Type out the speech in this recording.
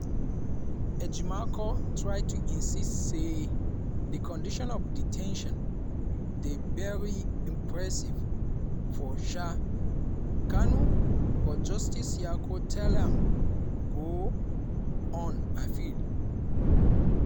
ejimakor try to insist say di condition of de ten tion dey very oppressive for um kanu but justice nyako tell am to go on appeal.